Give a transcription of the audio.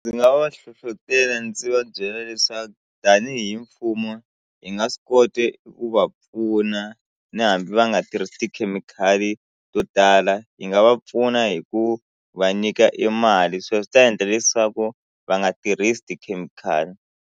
Ndzi nga va hlohletela ndzi va byela leswaku tanihi mfumo hi nga swi kota ku va pfuna ni hambi va nga tirhisi tikhemikhali to tala hi nga va pfuna hi ku va nyika e mali sweswo swi ta endla leswaku va nga tirhisi tikhemikhali.